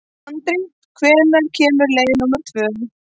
Andri, hvenær kemur leið númer tvö?